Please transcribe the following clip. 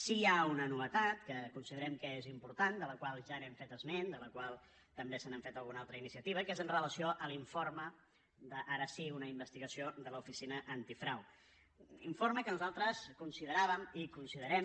sí que hi ha una novetat que considerem que és important de la qual ja hem fet esment de la qual també s’ha fet alguna altra iniciativa que és amb relació a l’informe ara sí d’una investigació de l’oficina antifrau informe que nosaltres consideràvem i considerem